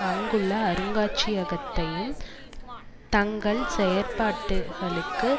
அங்குள்ள அருங்காட்சியகத்தையும் தங்கள் செயற்பாடுகளுக்கு